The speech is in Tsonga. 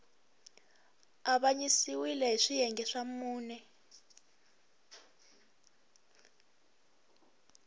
avanyisiwile hi swiyenge swa mune